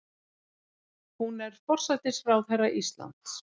Hún er forsætisráðherra Íslands.